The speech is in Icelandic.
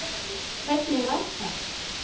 Hvernig var það?